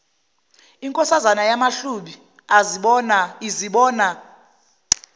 inkosazana yamahlubi azibona